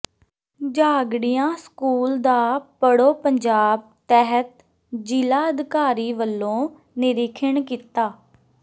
Jhagrian school ਦਾ ਪੜ੍ਹੋ ਪੰਜਾਬ ਤਹਿਤ ਜ਼ਿਲ੍ਹਾ ਅਧਿਕਾਰੀ ਵਲੋਂ ਨਿਰੀਖਣ ਕੀਤਾ